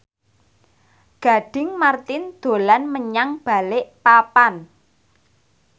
Gading Marten dolan menyang Balikpapan